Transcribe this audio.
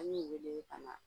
An y'u wele ka na